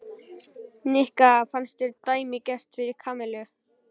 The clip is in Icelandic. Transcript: Nikka fannst þetta dæmigert fyrir Kamillu.